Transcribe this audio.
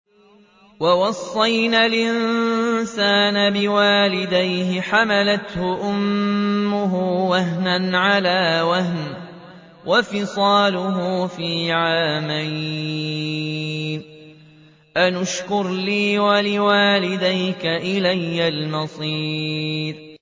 وَوَصَّيْنَا الْإِنسَانَ بِوَالِدَيْهِ حَمَلَتْهُ أُمُّهُ وَهْنًا عَلَىٰ وَهْنٍ وَفِصَالُهُ فِي عَامَيْنِ أَنِ اشْكُرْ لِي وَلِوَالِدَيْكَ إِلَيَّ الْمَصِيرُ